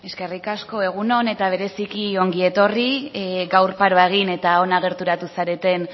eskerrik asko egun on eta bereziki ongi etorri gaur paroa egin eta hona gerturatu zareten